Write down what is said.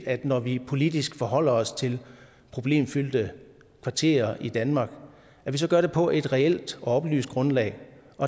når vi politisk forholder os til problemfyldte kvarterer i danmark at vi så gør det på et reelt og oplyst grundlag